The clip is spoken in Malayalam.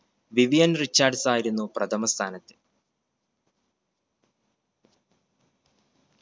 വിവിയൻ റിച്ചാർഡ്‌സ് ആയിരുന്നു പ്രഥമ സ്ഥാനത്ത്